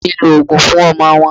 Aunty mi ń lo òógùn fún ọmọ wọn